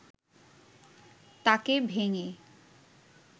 তাকে ভেঙে